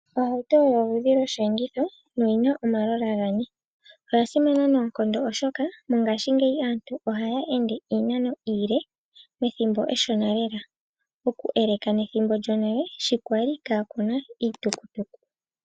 Ohauto oyo oludhi lwo sheenditho noyina omalola gane. Oya simana noonkondo oshoka mongashingeyi aantu ohaya ende iinano iile pethimbo eshona lela oku eleka nethimbo lyonale shi kwali ka kuna iitukutuku.